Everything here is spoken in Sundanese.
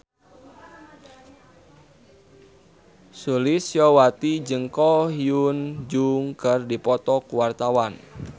Sulistyowati jeung Ko Hyun Jung keur dipoto ku wartawan